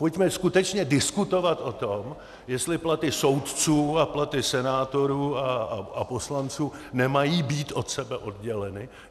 Pojďme skutečně diskutovat o tom, jestli platy soudců a platy senátorů a poslanců nemají být od sebe odděleny.